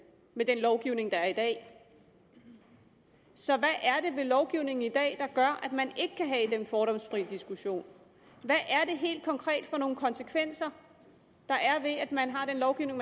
med den lovgivning der er i dag så hvad er det i lovgivningen i dag der gør at man ikke kan have den fordomsfri diskussion hvad er det helt konkret for nogle konsekvenser der er ved at man har den lovgivning